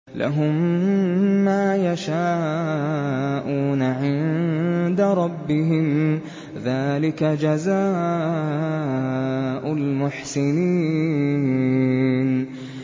لَهُم مَّا يَشَاءُونَ عِندَ رَبِّهِمْ ۚ ذَٰلِكَ جَزَاءُ الْمُحْسِنِينَ